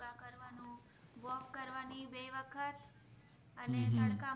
વખત અને તડકા વખત